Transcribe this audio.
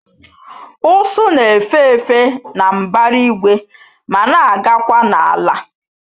Ụsụ na-efe efe na mbara igwe ma na-agakwa n'ala